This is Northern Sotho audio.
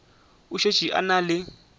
o šetše a na le